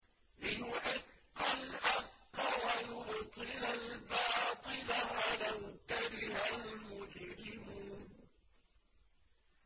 لِيُحِقَّ الْحَقَّ وَيُبْطِلَ الْبَاطِلَ وَلَوْ كَرِهَ الْمُجْرِمُونَ